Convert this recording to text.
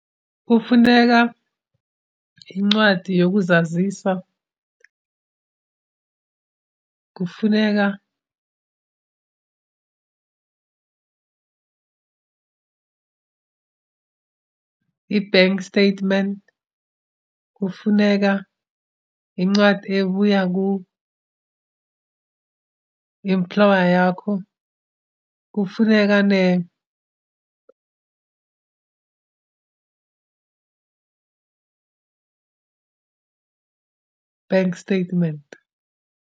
Kufuneka incwadi yokuzazisa, kufuneka i-bank statement, kufuneka incwadi ebuya ku-employer yakho, kufuneke bank statement.